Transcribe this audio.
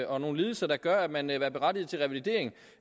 og nogle lidelser der gør at man er berettiget til revalidering